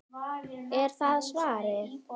Er það svarið?